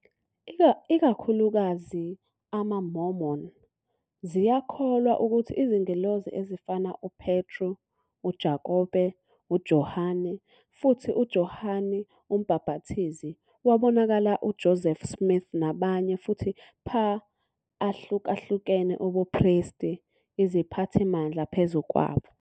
Ikakhulukazi, amaMormon ziyakholwa ukuthi izingelosi ezifana uPetru, uJakobe, uJohane, futhi uJohane uMbhapathizi wabonakala uJoseph Smith nabanye futhi pha ahlukahlukene Ubupristi iziphathimandla phezu kwabo.